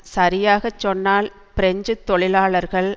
சரியாக சொன்னால் பிரெஞ்சு தொழிலாளர்கள்